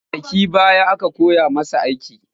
Kwanakin baya aka koya masa aiki